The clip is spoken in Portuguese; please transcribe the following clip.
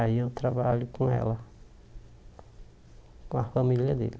Aí eu trabalho com ela, com a família dele.